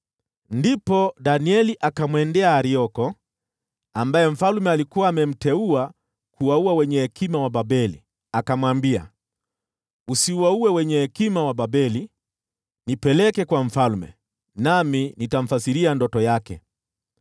Ndipo Danieli akamwendea Arioko, ambaye mfalme alikuwa amemteua kuwaua wenye hekima wa Babeli, akamwambia, “Usiwaue wenye hekima wa Babeli. Nipeleke kwa mfalme, nami nitamfasiria ndoto yake.”